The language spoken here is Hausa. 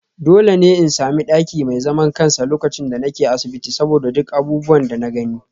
Dole ne in sami daki mai zaman kansa lokacin da nake asibiti saboda duk abubuwan da na gani